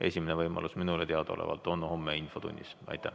Esimene võimalus selleks on minule teadaolevalt homme infotunnis.